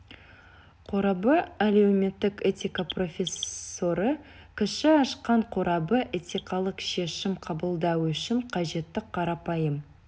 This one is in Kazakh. қорабы әлеуметтік этика профессоры кіші ашқан қорабы этикалық шешім қабылдау үшін қажетті қарапайым